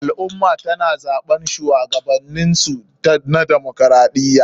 Al ummah tana zaɓen shuwagabaninsu na demaokaraɗiya